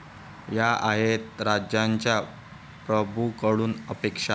या आहेत राज्याच्या प्रभूंकडून अपेक्षा